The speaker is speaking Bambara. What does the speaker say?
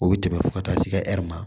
O bɛ tɛmɛ fo ka taa se ɛ hɛri ma